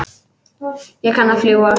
Ég kann að fljúga.